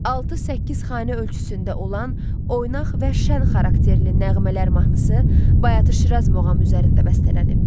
Altı-səkkiz xanə ölçüsündə olan oynaq və şənxarakterli "Nəğmələr" mahnısı "Bayatı-Şiraz" muğamı üzərində bəstələnib.